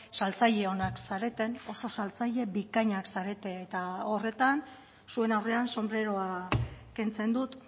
saltzaile onak zareten oso saltzaile bikainak zarete eta horretan zuen aurrean sonbreroa kentzen dut